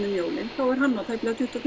um jólin þá er hann á tæplega tuttugu